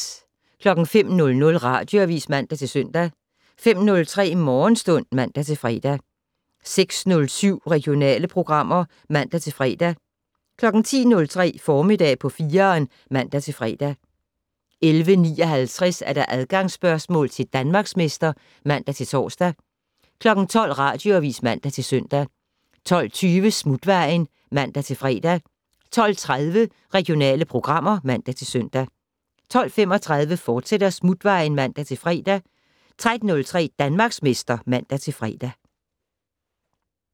05:00: Radioavis (man-søn) 05:03: Morgenstund (man-fre) 06:07: Regionale programmer (man-fre) 10:03: Formiddag på 4'eren (man-fre) 11:59: Adgangsspørgsmål til Danmarksmester (man-tor) 12:00: Radioavis (man-søn) 12:20: Smutvejen (man-fre) 12:30: Regionale programmer (man-søn) 12:35: Smutvejen, fortsat (man-fre) 13:03: Danmarksmester (man-fre)